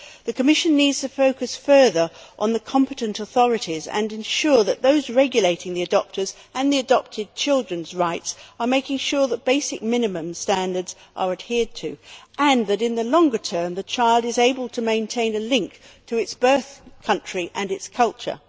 The Commission needs to focus further on the competent authorities, and ensure that those regulating the adopters' and the adopted children's rights are making sure that basic minimum standards are adhered to, and that, in the longer term, the child is able to maintain a link to its birth country and its culture.